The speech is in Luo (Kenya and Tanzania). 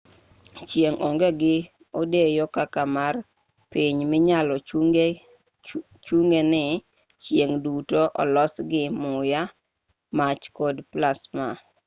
chieng' onge gi odeyo kaka mar piny minyalo chung'e ni chieng' duto olosi gi muya mach kod plasma